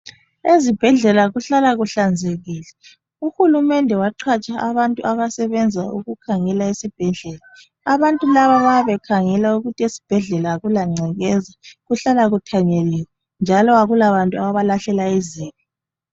Ezibhedlela kuhlala kuhlanzekile. Uhulumende waqhatsha abantu abasebenza ukukhangela esibhedlela. Abantu laba bayabe bekhangela ukuthi esibhedlela akula ngcekeza, kuhlala kuthanyeliwe, njalo akulabantu abalahlela izibi.